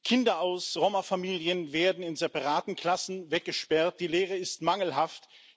Kinder aus Roma Familien werden in separaten Klassen weggesperrt, die Lehre ist mangelhaft.